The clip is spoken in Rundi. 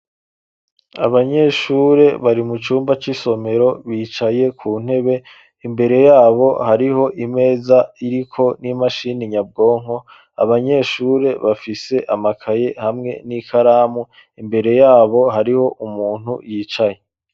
Abanyeshure bari mu cumba c'isomero bicaye ku ntebe, imbere yabo hariho imeza iriko n'imashini nyabwonko, abanyeshure bafise amakaye hamwe n'ikaramu imbere yabo hariho umuntu yicaye.